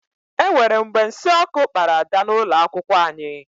E nwere mgbe nsị ọkụ kpara Ada n'ụlọ akwụkwọ anyị.